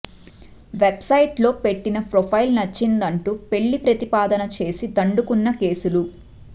వెబ్సైట్స్లో పెట్టిన ప్రొఫైల్ నచ్చిందంటూ పెళ్లి ప్రతిపాదన చేసి దండుకున్న కేసులు